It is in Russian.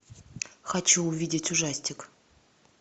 хочу увидеть ужастик